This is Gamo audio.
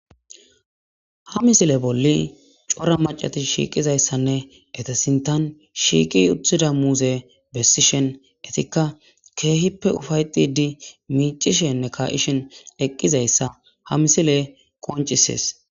Ha misile bolli cora macatis shiiqizayssanne etesintan shiiqi uthida muuze bessishen etikka keehippe ufayxidi miicishenne kayishen eqqizayssa ha misile qoncisees.